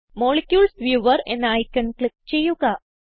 molecules viewer എന്ന icon click ചെയ്യുക